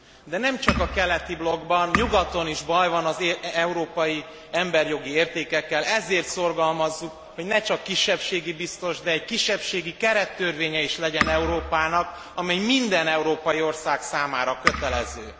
De nem csak a keleti blokkban, nyugaton is baj van az európai emberjogi értékekkel, ezért szorgalmazzuk, hogy ne csak kisebbségi biztos, de egy kisebbségi kerettörvénye is legyen Európának, amely minden európai ország számára kötelező.